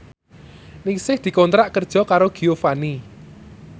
Ningsih dikontrak kerja karo Giovanni